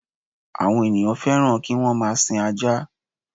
Àwon ènìyàn fẹ́ràn ki wọ́n máa sin ajá